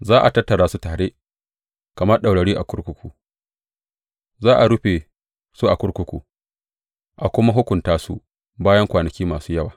Za a tattara su tare kamar ɗaurarru a kurkuku; za a rufe su a kurkuku a kuma hukunta su bayan kwanaki masu yawa.